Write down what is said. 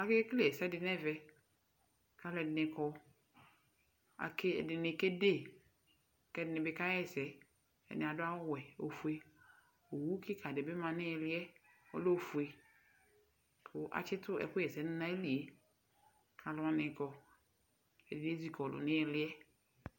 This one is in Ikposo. Akekele ɛsɛ dɩ nʋ ɛvɛ, kʋ alʋ ɛdɩnɩ kɔ, ɛdɩnɩ kede kʋ ɛdɩnɩ bɩ kaɣa ɛsɛ, ɛdɩnɩ adʋ awʋ wɛ, ofue, owu kɩka dɩ bɩ ma nʋ ɩɣɩlɩ yɛ kʋ ɔlɛ ofue kʋ atsɩtʋ ɛkʋɣa ɛsɛ dʋ nʋ ayili yɛ, kʋ alʋ wanɩ kɔ Ɛdɩ ezikɔlʋ nʋ ɩɣɩlɩ yɛ